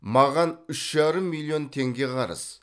маған үш жарым миллион теңге қарыз